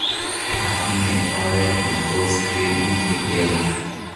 atinye oret ni tos keguiyegei